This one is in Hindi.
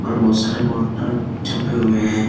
और बहुत सारे पोस्टर छपे हुए हैं।